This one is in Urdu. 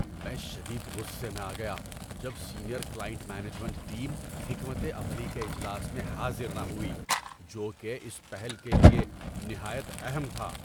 میں شدید غصے میں آ گیا جب سینئر کلائنٹ مینجمنٹ ٹیم حکمت عملی کے اجلاس میں حاضر نہ ہوئی جو کہ اس پہل کے لیے نہایت اہم تھا۔